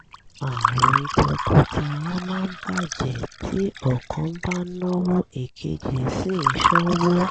àárín tọkọtaya máa ń bà jẹ́ tí ọ̀kan bá ń náwó èkejì sì ń ṣọ́wó